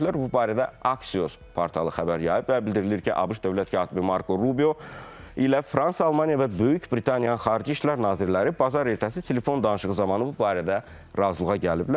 Bu barədə Axios portalı xəbər yayıb və bildirilir ki, ABŞ dövlət katibi Marko Rubio ilə Fransa, Almaniya və Böyük Britaniyanın xarici işlər nazirləri bazar ertəsi telefon danışığı zamanı bu barədə razılığa gəliblər.